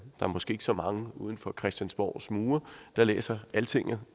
er måske ikke så mange uden for christiansborgs mure der læser altinget